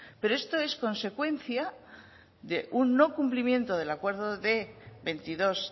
pero esto es consecuencia de un no cumplimiento del acuerdo de veintidós